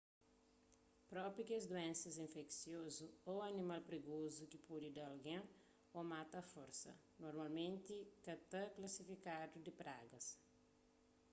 propi kes duénsa infesiozu ô animal prigozu ki pode da algen ô mata a forsa normalmenti ka ta klasifikadu di pragas